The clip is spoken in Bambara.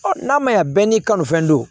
Ɔ n'a ma ɲa bɛɛ n'i ka fɛn don